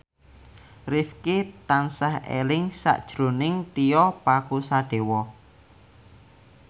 Rifqi tansah eling sakjroning Tio Pakusadewo